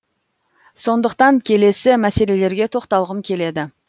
сондықтан келесі мәселелерге тоқталғым келеді